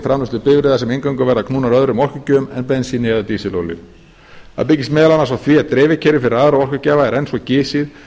framleiðslu bifreiða sem eingöngu verða knúnar öðrum orkugjöfum en bensíni eða dísilolíu það byggist meðal annars á því að dreifikerfi fyrir aðra orkugjafa er enn svo gisið